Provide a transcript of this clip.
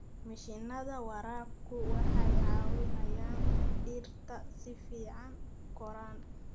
Mashiinnada waraabku waxay caawiyaan dhirta si fiican u koraan.